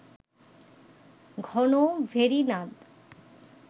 ঘন ভেরীনাদ